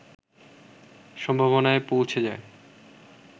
সম্ভবনায় পৌঁছে যায়